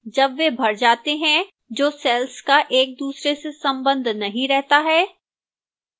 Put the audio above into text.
जब वे भर जाते हैं जो cells का एक दूसरे से संबंध नहीं रहता है